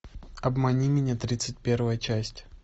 обмани меня тридцать первая часть